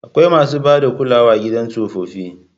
Akwai masu ba da kulawa a gidan tsofaffi.